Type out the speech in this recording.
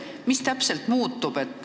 Mis täpselt muutub?